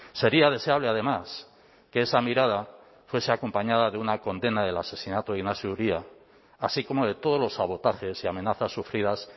sería deseable además que esa mirada fuese acompañada de una condena del asesinato de iñaxio uria así como de todos los sabotajes y amenazas sufridas